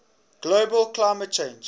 global climate change